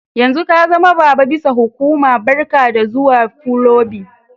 Yanzun ka zama baba bisa hukuma, barka da zuwa kulobin.